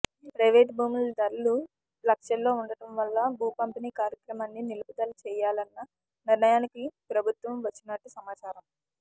private భూముల ధరలు లక్షల్లో ఉండటం వల్ల భూ పంపిణీ కార్యక్రమాన్ని నిలుపుదల చేయాలన్న నిర్ణయానికి ప్రభుత్వం వచ్చినట్టు సమాచారం